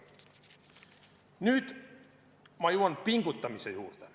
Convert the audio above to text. Nüüd ma jõuan pingutamise juurde.